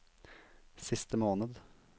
siste måned